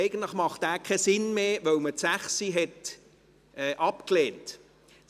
Eigentlich macht dieser keinen Sinn mehr, weil Absatz 6 abgelehnt wurde.